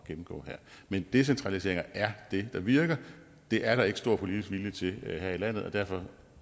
at gennemgå her men decentraliseringer er det der virker det er der ikke stor politisk vilje til her i landet og derfor